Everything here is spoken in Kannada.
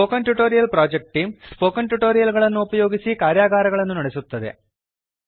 spoken tutorial project team spoken tutorial ಗಳನ್ನು ಉಪಯೋಗಿಸಿ ಕಾರ್ಯಾಗಾರಗಳನ್ನು ನಡೆಸುತ್ತದೆ